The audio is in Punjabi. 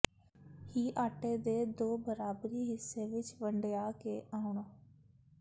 ਹੀ ਆਟੇ ਦੇ ਦੋ ਬਰਾਬਰੀ ਹਿੱਸੇ ਵਿੱਚ ਵੰਡਿਆ ਕੇ ਆਉਣ